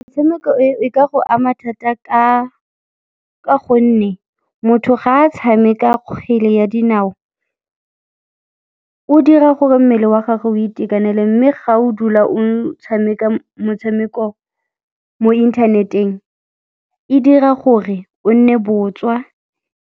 Metshameko e, e ka go ama thata ka gonne motho ga a tshameka kgwele ya dinao, o dira gore mmele wa gagwe o itekanele mme ga o dula o tshameka motshameko mo inthaneteng, e dira gore o nne botswa.